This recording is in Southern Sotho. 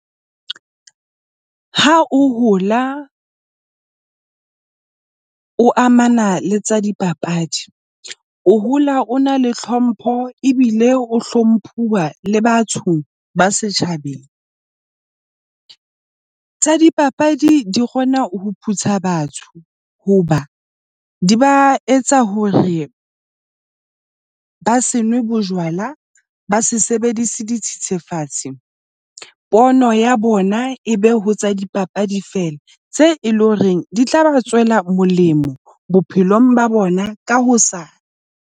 Ha o hola o amana le tsa dipapadi, o hola o na le hlompho ebile o hlomphuwa le batho ba setjhabeng. Tsa dipapadi di kgona ho phutha batho hoba di ba etsa hore ba se nwe bojwala, ba se sebedise dithethefatsi. Pono ya bona e be ho tsa dipapadi fela tse e leng horeng di tla ba tswela molemo bophelong ba bona ka hosane.